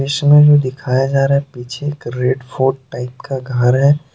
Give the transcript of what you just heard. इसमें जो दिखाया जा रहा है पीछे एक रेड फोर्ट टाइप का घर है।